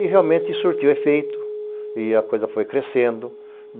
E realmente surtiu efeito e a coisa foi crescendo.